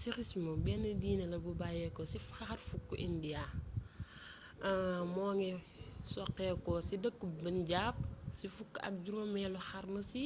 sikhism bénn diiné la bu bayyéko ci xarfuk inda moongi soxéko ci deekkeub punjab ci fukk ak juroomélu xarnu ci